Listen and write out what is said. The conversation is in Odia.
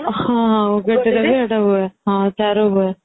ହଁ ଉଗଡି ରେ ସେଇଟା ହୁଏ ଚାରୁ ହୁଏ